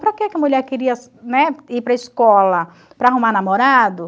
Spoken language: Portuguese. Para que que a mulher queria, né, ir para a escola para arrumar namorado?